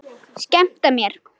Skemmta mér?